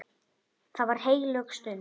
Það var heilög stund.